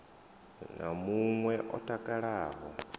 na mun we o takalaho